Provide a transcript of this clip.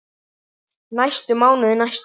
næstu mánuði, næstu ár.